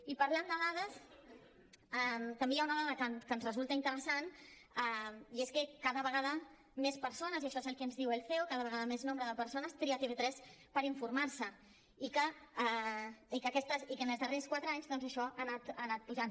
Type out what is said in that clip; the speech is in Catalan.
i parlant de dades també hi ha una dada que ens resulta interessant i és que cada vegada més persones i això és el que ens diu el ceo cada vegada un major nombre de persones tria tv3 per informar se i que en els darrers quatre anys doncs això ha anat pujant